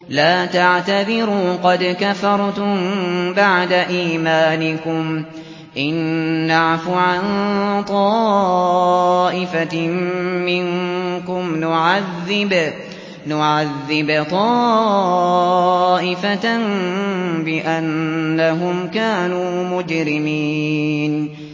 لَا تَعْتَذِرُوا قَدْ كَفَرْتُم بَعْدَ إِيمَانِكُمْ ۚ إِن نَّعْفُ عَن طَائِفَةٍ مِّنكُمْ نُعَذِّبْ طَائِفَةً بِأَنَّهُمْ كَانُوا مُجْرِمِينَ